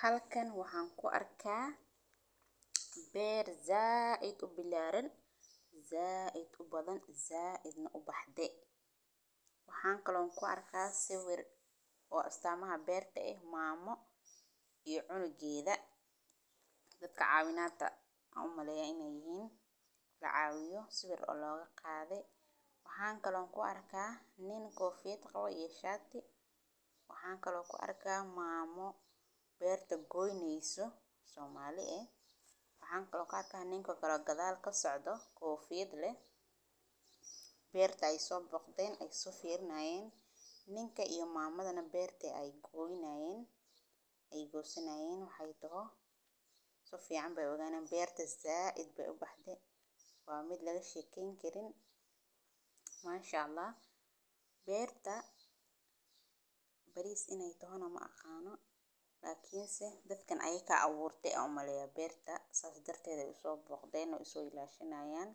Halkan waxaan ku arkaa beer zaa id u bilaaran, zaa id u badan, zaa idina u bahde. Waxaan kaloon ku arkaa sawir oo astamaha beerta ah maamo iyo cunugyada. Dadka caawinaanta caawimo inay yihiin la caawiyo sawir ologa qaade. Waxaan kaloon ku arkaa nin koofida qalo iyo shaati. Waxaan kaloo ku arkaa maamo beerta goyneeyso Soomaali. Waxaan kaloo ka arkaa ninku kala gadaal ka socdo koofid leh, beertu ay soo boqdeen ay si fiirnayeen ninka iyo maamadana beerta ay goysanayeen waxay toho. So fiican bay ugaanaan beerta zaa idba ubahde waa mid laga shiikayn kirin. Maasha Allah. Beerta baris inay doono maqaano, laakiinse dadkan ayee ka caawurtay cunugga beerta saas dhirtayda u soo booqdayna u soo ilaashinayaan.